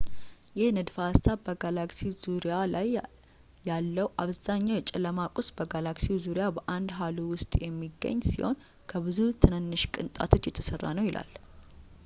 ይህ ንድፈ-ሀሳብ በጋላክሲ ዙሪያ ያለው አብዛኛው የጨለማ ቁስ በጋላክሲው ዙሪያ በአንድ ሃሎ ውስጥ የሚገኝ ሲሆን ከብዙ ትናንሽ ቅንጣቶች የተሠራ ነው ይላል